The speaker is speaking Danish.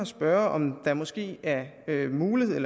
spørge om der måske er mulighed